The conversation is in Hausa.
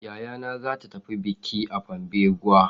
Yayana za ta tafi bikin a Pambeguwa.